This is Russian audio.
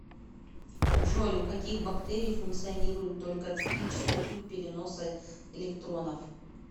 джой у каких бактерий функционирует только циклический путь переноса электронов